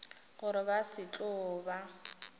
gore ba se tlo ba